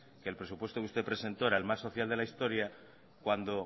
que el presupuesto que usted presentó era el más social de la historia cuando